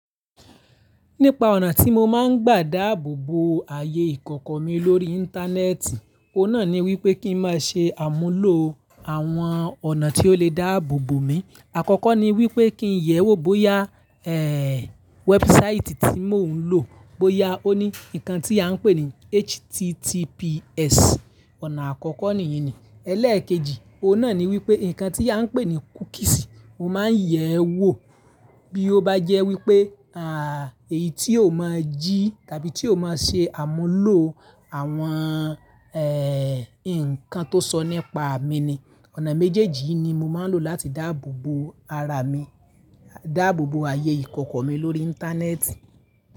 Nípa ọ̀nà tí mo máa ń gbà dáàbò bo ayé ìkọ̀kọ̀ mi lórí Íńtánẹ́ẹ̀tì, o náà ni wípé kí n máa ṣe àmúlò àwọn ọ̀nà tí ó le dáàbò bo mi. Àkọ́kọ́ ni wípé kí nyẹ wò bóyá, ẹ́ẹ́, wẹ́búsáìtì tí mò ń lò bóyá ó ní nǹkan tí a ń pè ní HTTPS. Ọ̀nà àkọ́kọ́ nìyí ni. Ẹlẹ́ẹ̀kejì, o náà ni wípé nnkan tí a ń pè ní kúkísì, mo máa ń yẹ ẹ́ wò bí ó bá jẹ́ wípé, àh, èyí tí ò máa jí tàbí tí ò máa ṣe àmúlò àwọn, ẹ́ẹ́, nǹkan tó sọ nípa mi ni. Ọ̀nà méjèèjì ni mo máa ń lò láti dáàbò bo ara mi, dáàbò bo ayé ìkọ̀kọ̀ mi lórí Íńtánẹ́ẹ̀tì.